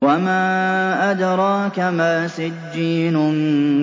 وَمَا أَدْرَاكَ مَا سِجِّينٌ